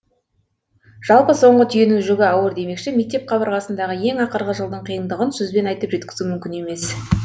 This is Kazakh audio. жалпы соңғы түйенің жүгі ауыр демекші мектеп қабырғасындағы ең ақырғы жылдың қиыңдығын сөзбен айтып жеткізу мүмкін емес